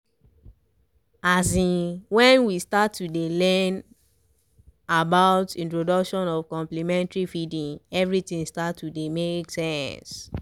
azinn when we start to dey learn about introduction of complementary feeding everything con be start to dey make sense